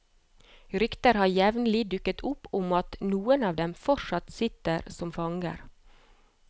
Rykter har jevnlig dukket opp om at noen av dem fortsatt sitter som fanger.